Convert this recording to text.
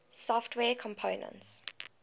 software components